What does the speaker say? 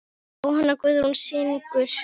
Jóhanna Guðrún syngur.